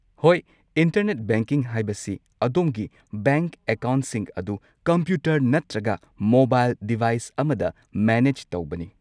ꯍꯣꯏ, internet banking ꯍꯥꯏꯕꯁꯤ ꯑꯗꯣꯝꯒꯤ ꯕꯦꯡꯛ ꯑꯦꯀꯥꯎꯟꯠꯁꯤꯡ ꯑꯗꯨ ꯀꯝꯄ꯭ꯌꯨꯇꯔ ꯅꯠꯇ꯭ꯔꯒ ꯃꯣꯕꯥꯏꯜ ꯗꯤꯚꯥꯢꯁ ꯑꯃꯗ ꯃꯦꯅꯦꯖ ꯇꯧꯕꯅꯤ꯫